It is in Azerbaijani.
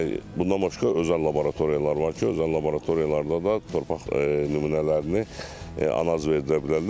və bundan başqa özəl laboratoriyalar var ki, özəl laboratoriyalarda da torpaq nümunələrini analiz verdirə bilərlər.